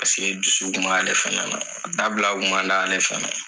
Paseke dusu kun m'ale fana na dabila kun man d'ale fana ye.